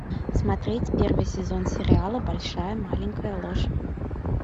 смотреть первый сезон сериала большая маленькая ложь